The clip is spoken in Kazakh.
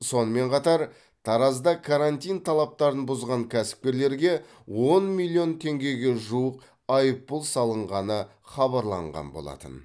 сонымен қатар таразда карантин талаптарын бұзған кәсіпкерлерге он миллион теңгеге жуық айыппұл салынғаны хабарланған болатын